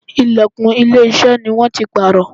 Ìlẹ̀kùn ilé iṣẹ́ ni wón ti pààrọ̀.